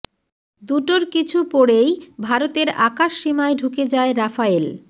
দুটোর কিছু পড়েই ভারতের আকাশ সীমায় ঢুকে যায় রাফায়েল